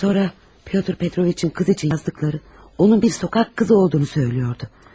Sonra Pyotr Petroviç'in qız üçün yazdıqları, onun bir küçə qızı olduğunu söyləyirdi.